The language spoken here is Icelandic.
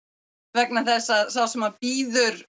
vegna þess að sá sem býður